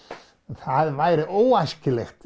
það væri óæskilegt